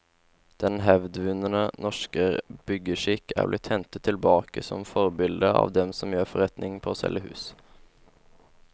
Den hevdvunne norske byggeskikk er blitt hentet tilbake som forbilde av dem som gjør forretning på å selge hus.